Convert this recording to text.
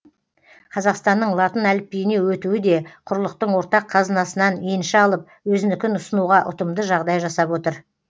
қазақстанның латын әліпбиіне өтуі де құрлықтың ортақ қазынасынан енші алып өзінікін ұсынуға ұтымды жағдай жасап отыр